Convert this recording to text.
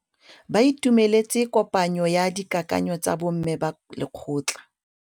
Ba itumeletse kôpanyo ya dikakanyô tsa bo mme ba lekgotla.